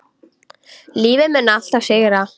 Lífið mun alltaf sigra.